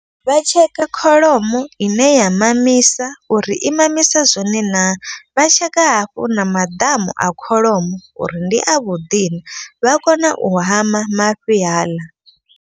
Vha tsheka kholomo ine ya mamisa uri i mamisa zwone naa. Vha tsheka hafhu na maḓamu a kholomo uri ndi a vhuḓi na vha kona u hama mafhi haaḽa.